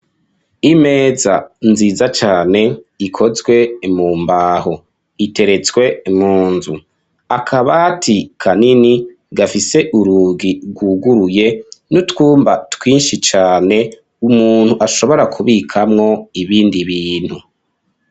Imeza nziza cane ikozwe mu mbaho, iteretswe mu nzu. Akabati kanini gafise urugi rwuguruye n'utwumba twinshi cyane umuntu ashobora kubikamwo ibindi bintu.